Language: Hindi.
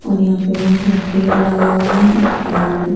और यहां पे बहोत सारा पेड़ लगा हुआ है और--